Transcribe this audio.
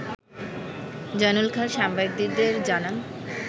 জয়নুল খান সাংবাদিকদের জানান